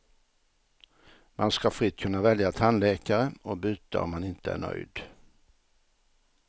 Man ska fritt kunna välja tandläkare, och byta om man inte är nöjd.